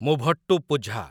Muvattupuzha